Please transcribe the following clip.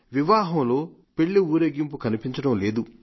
వివాహంలో పెళ్లి ఊరేగింపు కనిపించడం లేదు